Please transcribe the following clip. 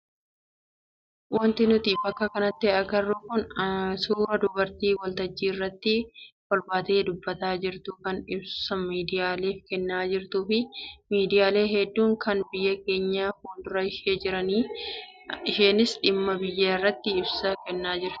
Wanti nuti bakka kanatti agarru kun suuraa dubartii waltajjii irratti ol baatee dubbataa jirtu kan ibsa miidiyaaleef kennaa jirtuu fi miidiyaaleen hedduun kan biyya keenyaa fuuldura ishee jiranidha. Isheenis dhimma biyyaa irratti ibsa kennaa jirti.